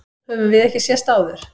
Höfum við ekki sést áður?